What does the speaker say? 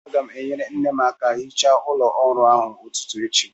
Aga m enyere nne m aka hichaa ụlọ ọrụ ahụ n'ụtụtụ echi